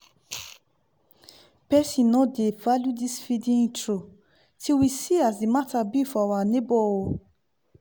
person no dey value this feeedin intro till we see as the matter be for our nebo oh